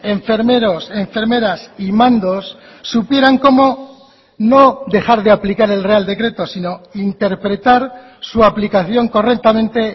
enfermeros enfermeras y mandos supieran cómo no dejar de aplicar el real decreto sino interpretar su aplicación correctamente